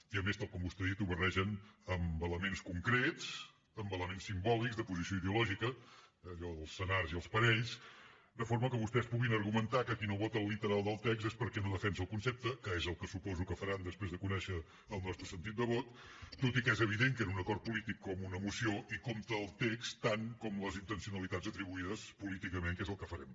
i a més tal com vostè ha dit ho barregen amb elements concrets amb elements simbòlics de posició ideològica allò dels senars i els parells de forma que vostès puguin argumentar que qui no vota el literal del text és perquè no defensa el concepte que és el que suposo que faran després de conèixer el nostre sentit de vot tot i que és evident que en un acord polític com una moció hi compta el text tant com les intencionalitats atribuïdes políticament que és el que farem